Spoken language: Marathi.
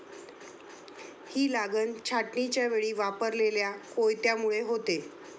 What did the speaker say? ही लागन छाटणीच्यावेळी वापरलेल्या कोयत्यामुळे होते.